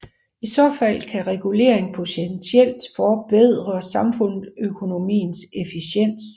I så fald kan regulering potentielt forbedre samfundsøkonomiens efficiens